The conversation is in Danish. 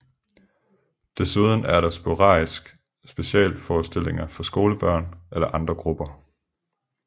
Desuden er der sporadisk specialforestillinger for skolebørn eller andre grupper